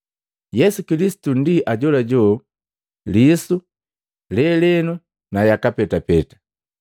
Yesu Kilisitu ndi ajolajo lisu, lelenu na yaka petapeta.